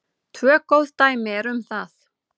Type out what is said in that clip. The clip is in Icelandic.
Tvö góð dæmi eru um það.